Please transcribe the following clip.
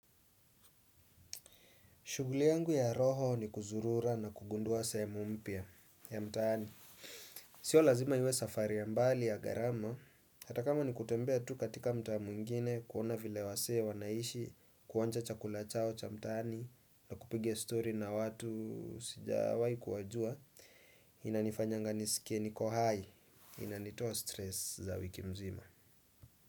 Shughuli yangu ya roho ni kuzurura na kugundua sehemu mpya ya mtaani. Sio lazima iwe safari ya mbali ya ghharama. Hata kama ni kutembea tu katika mtaa mwingine kuona vile wasee wanaishi kuonja chakula chao cha mtaani na kupiga story na watu sijawahi kuwajua. Inanifanyanga nisikie niko hai. Inanitoa stress za wiki mzima.